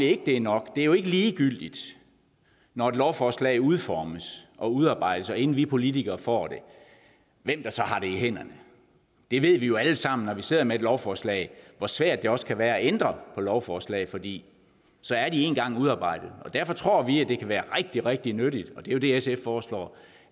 ikke det er nok det er jo ikke ligegyldigt når et lovforslag udformes og udarbejdes altså inden vi politikere får det hvem der så har haft det i hænderne vi ved jo alle sammen når vi sidder med lovforslag hvor svært det også kan være at ændre på lovforslag fordi de så én gang er udarbejdet derfor tror vi at det kan være rigtig rigtig nyttigt og det er jo det sf foreslår